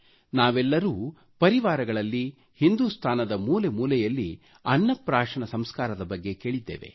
ನಾವೆಲ್ಲರೂ ಪರಿವಾರಗಳಲ್ಲಿ ಹಿಂದುಸ್ತಾನದ ಮೂಲೆಮೂಲೆಯಲ್ಲಿ ಅನ್ನ ಪ್ರಾಶನ ಸಂಸ್ಕಾರದ ಬಗ್ಗೆ ಕೇಳಿದ್ದೇವೆ